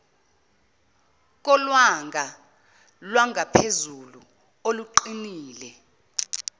kolwanga lwangaphezulu oluqinile